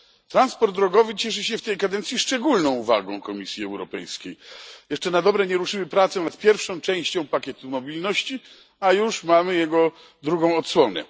Transport drogowy cieszy się w tej kadencji szczególną uwagą Komisji Europejskiej. Jeszcze na dobre nie ruszyły prace nad pierwszą częścią pakietu mobilności, a już mamy jego drugą odsłonę.